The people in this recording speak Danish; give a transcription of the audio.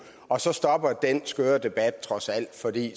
og så stopper den skøre debat trods alt fordi